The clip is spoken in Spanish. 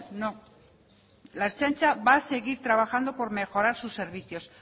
no la ertzaintza va a seguir trabajando por mejorar sus servicios